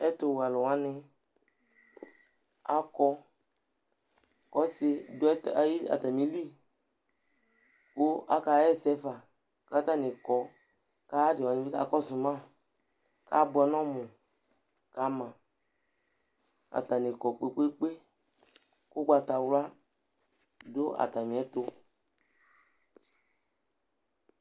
Ɛtʋwɛ alʋ wanɩ akɔ kʋ ɔsɩ dʋ ayi atamɩli kʋ akaɣa ɛsɛ fa kʋ atanɩ kɔ Kʋ ayʋ adɩ wanɩ bɩ kakɔsʋ ma kʋ abʋɛ nʋ ɔmʋ ka ma Atanɩ kɔ kpe-kpe-kpe kʋ ʋgbatawla dʋ atamɩɛtʋ